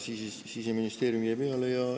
Siseministeerium jäi peale.